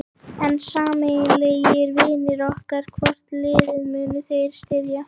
En sameiginlegir vinir ykkar, hvort liðið munu þeir styðja?